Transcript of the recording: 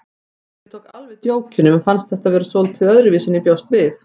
Ég tók alveg djókinu en mér fannst þetta vera svolítið öðruvísi en ég bjóst við.